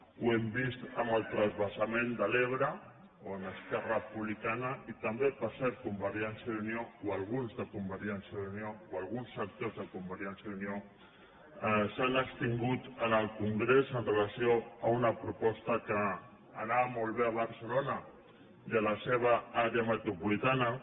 ho hem vist amb el transvasa ment de l’ebre on esquerra republicana i també per cert con vergència i unió o alguns de convergència i unió o alguns sectors de convergència i unió s’han abstingut en el congrés amb relació a una proposta que anava molt bé a barcelona i a la seva àrea metropolitana